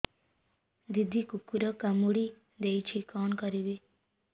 ଦିଦି କୁକୁର କାମୁଡି ଦେଇଛି କଣ କରିବି